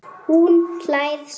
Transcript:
Hún hlær smá.